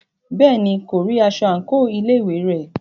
Bẹ́ẹ̀ni, kò rí aṣọ àńkò ilé ìwé rẹ̀.